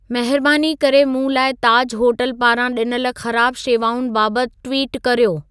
महिरबानी करे मूं लाइ ताज होटल पारां ॾिनल ख़राब शेवाउनि बाबति ट्विटु कर्यो